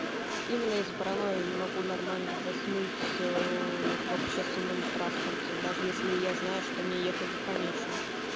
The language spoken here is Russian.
именно из-за паранойи я не могу нормально заснуть в общественном транспорте даже если я знаю что мне ехать до конечной